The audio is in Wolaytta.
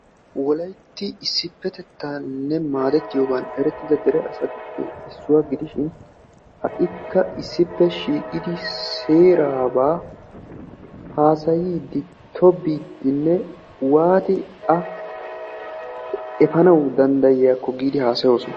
Wolaytti issipetettan maadettiyoogan erettidda asaa. Ha'ikka shiiqqiddi issipetettaba haasayosonna.